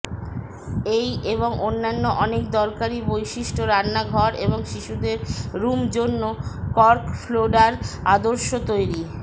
এই এবং অন্যান্য অনেক দরকারী বৈশিষ্ট্য রান্নাঘর এবং শিশুদের রুম জন্য কর্ক ফ্লোর্ডার আদর্শ তৈরি